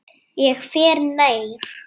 Ég fer nær.